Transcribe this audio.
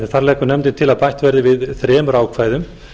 þar leggur til að bætt verði við þremur ákvæðum